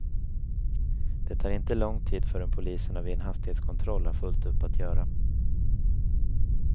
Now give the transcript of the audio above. Det tar inte lång tid förrän poliserna vid en hastighetskontroll har fullt upp att göra.